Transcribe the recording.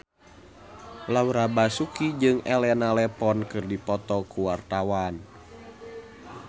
Laura Basuki jeung Elena Levon keur dipoto ku wartawan